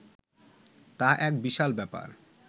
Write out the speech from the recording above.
তা এক বিশাল ব্যাপার